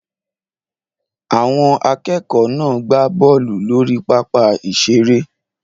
Àwọn akẹ́kọ̀ọ́ náà gbá bọ́ọ̀lù lórí pápá ìṣeré